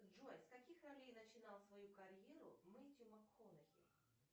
джой с каких ролей начинал свою карьеру мэтью макконахи